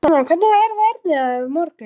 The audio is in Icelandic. Símona, hvernig er veðrið á morgun?